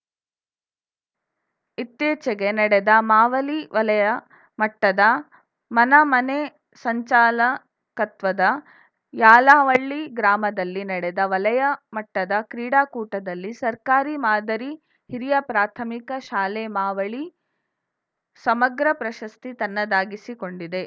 ಇತ್ತಿಚೆಗೆ ನಡೆದ ಮಾವಲಿ ವಲಯ ಮಟ್ಟದ ಮನಮನೆ ಸಂಚಾಲಕತ್ವದ ಯಾಲವಳ್ಳಿ ಗ್ರಾಮದಲ್ಲಿ ನಡೆದ ವಲಯ ಮಟ್ಟದ ಕ್ರೀಡಾಕೂಟದಲ್ಲಿ ಸರ್ಕಾರಿ ಮಾದರಿ ಹಿರಿಯ ಪ್ರಾಥಮಿಕ ಶಾಲೆ ಮಾವಲಿ ಸಮಗ್ರ ಪ್ರಶಸ್ತಿ ತನ್ನದಾಗಿಸಿಕೊಂಡಿದೆ